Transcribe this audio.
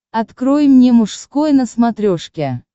открой мне мужской на смотрешке